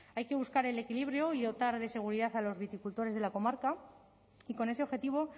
hay que buscar el equilibrio y dotar de seguridad a los viticultores de la comarca y con ese objetivo